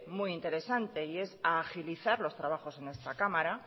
muy interesante y es a agilizar los trabajos en esta cámara